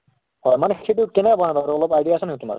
অ মানে সেইটো কেনেকে বনায় বাৰু অলপ idea আছে নেকি তোমাৰ?